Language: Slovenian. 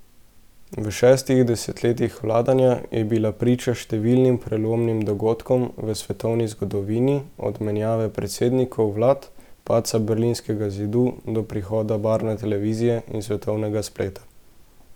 V šestih desetletjih vladanja je bila priča številnim prelomnim dogodkom v svetovni zgodovini, od menjave predsednikov vlad, padca berlinskega zidu, do prihoda barvne televizije in svetovnega spleta.